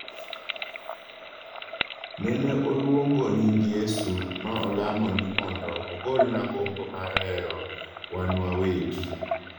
"Nene oluongo nying Yesu ma olamo ni mondo ogolna gombo mar hero wanwawegi."